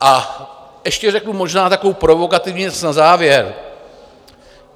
A ještě řeknu možná takovou provokativní věc na závěr.